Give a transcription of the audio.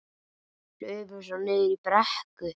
Hlupum svo niður í brekku.